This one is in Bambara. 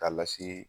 K'a lase